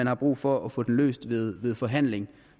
er brug for at få den løst ved ved forhandling